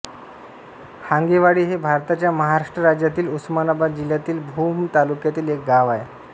हांगेवाडी हे भारताच्या महाराष्ट्र राज्यातील उस्मानाबाद जिल्ह्यातील भूम तालुक्यातील एक गाव आहे